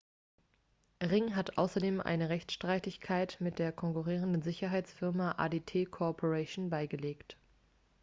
ring hat außerdem eine rechtsstreitigkeit mit der konkurrierenden sicherheitsfirma adt corporation beigelegt